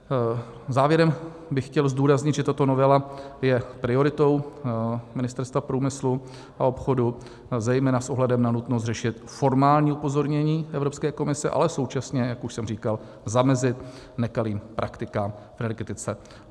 Závěrem bych chtěl zdůraznit, že tato novela je prioritou Ministerstva průmyslu a obchodu, zejména s ohledem na nutnost řešit formální upozornění Evropské komise, ale současně, jak už jsem říkal, zamezit nekalým praktikám v energetice.